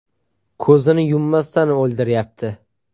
Ko‘zini yummasdan o‘ldiryapti.